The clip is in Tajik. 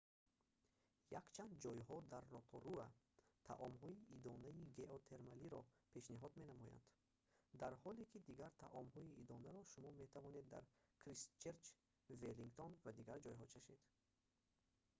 якчанд ҷойҳо дар роторуа таомҳои идонаи геотермалиро пешниҳод менамоянд дар ҳоле ки дигар таомҳои идонаро шумо метавонед дар кристчерч веллингтон ва дигар ҷойҳо чашед